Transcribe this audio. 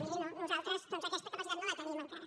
miri no nosaltres doncs aquesta capacitat no la tenim encara